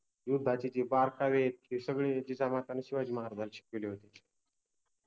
युद्धाचे जे बारकावे आहेत ते सगळे जिजामाताने शिवाजि महाराजाना शिकविले होते